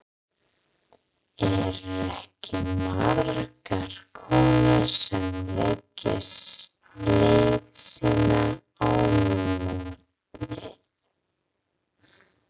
Eru ekki margar konur sem leggja leið sína á mótið?